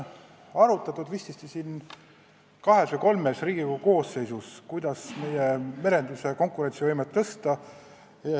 Vististi kahes või kolmes Riigikogu koosseisus on arutatud, kuidas meie merenduse konkurentsivõimet parandada.